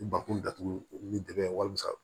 Ni bakun datugu ni dɛgɛ wasa